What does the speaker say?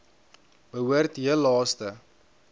behoort heel laaste